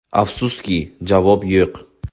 Afsuski, javob yo‘q.